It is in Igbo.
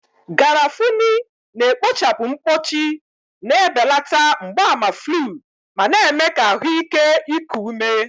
Garafuni na-ekpochapụ mkpọchi, na-ebelata mgbaàmà flu, ma na-eme ka ahụ ike iku ume.